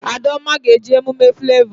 Adaoma ga-eje emume Flavọ